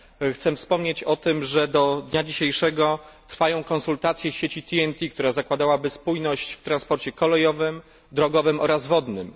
Chcę wspomnieć, że do dnia dzisiejszego trwają konsultacje sieci TNT, która zakładałaby spójność w transporcie kolejowym, drogowym oraz wodnym.